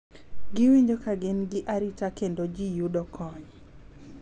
Giwinjo ka gin gi arita kendo ji yudo kony.